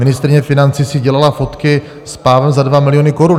Ministryně financí si dělala fotky s pávem za 2 miliony korun.